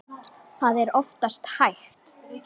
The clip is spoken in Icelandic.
Það er oftast hægt.